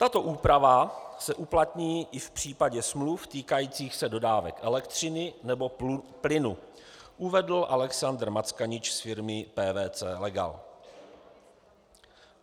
Tato úprava se uplatní i v případě smluv týkajících se dodávek elektřiny nebo plynu," uvedl Alexander Mackanič z firmy PwC Legal.